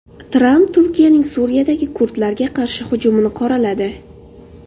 Tramp Turkiyaning Suriyadagi kurdlarga qarshi hujumini qoraladi.